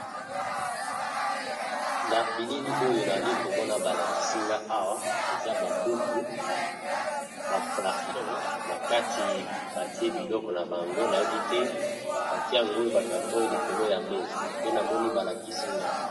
Nabilili oyo nazali komona balakisinga awa eza babuku na bacarton naki batiye biloko na bango bacarton wana batiye yango likolo ya mesa